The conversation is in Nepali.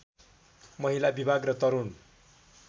महिला विभाग र तरुण